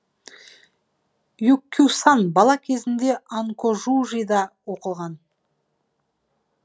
юккюсан бала кезінде анкожужида оқыған